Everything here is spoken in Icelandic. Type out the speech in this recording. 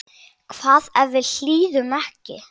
Hvað ef við hlýðum ekki?